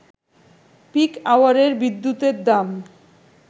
pick আওয়ারের বিদ্যুতের দাম